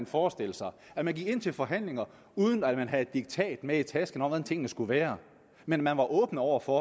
forestille sig at man gik ind til forhandlinger uden at man havde et diktat med i tasken om hvordan tingene skulle være men var åben over for